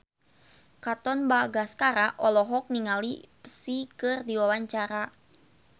Katon Bagaskara olohok ningali Psy keur diwawancara